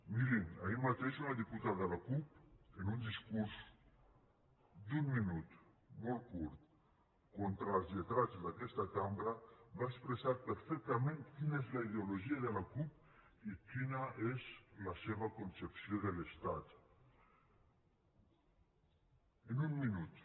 mirin ahir mateix una diputada de la cup en un discurs d’un minut molt curt contra els lletrats d’aquesta cambra va expressar perfectament quina és la ideologia de la cup i quina és la seva concepció de l’estat en un minut